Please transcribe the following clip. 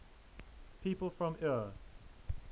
people from eure